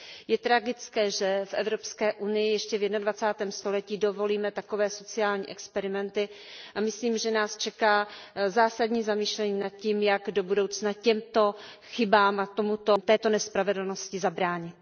Je tragické, že v Evropské unii ještě v jednadvacátém století dovolíme takové sociální experimenty, a myslím, že nás čeká zásadní zamyšlení nad tím, jak do budoucna těmto chybám a této nespravedlnosti zabránit.